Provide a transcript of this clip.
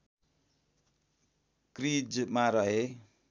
क्रिजमा रहे